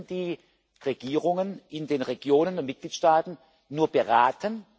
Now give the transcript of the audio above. Wir können die Regierungen in den Regionen der Mitgliedstaaten nur beraten.